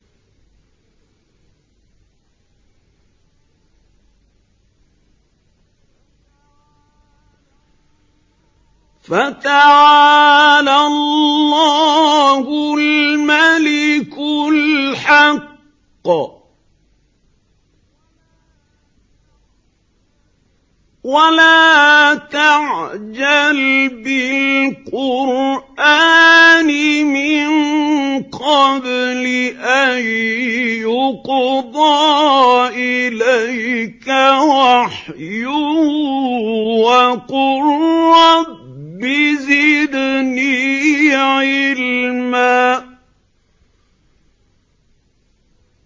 فَتَعَالَى اللَّهُ الْمَلِكُ الْحَقُّ ۗ وَلَا تَعْجَلْ بِالْقُرْآنِ مِن قَبْلِ أَن يُقْضَىٰ إِلَيْكَ وَحْيُهُ ۖ وَقُل رَّبِّ زِدْنِي عِلْمًا